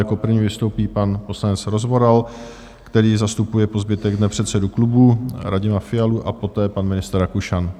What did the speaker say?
Jako první vystoupí pan poslanec Rozvoral, který zastupuje po zbytek dne předsedu klubu Radima Fialu, a poté pan ministr Rakušan.